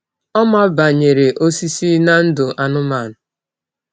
Ọ ma banyere osisi na ndụ anụmanụ.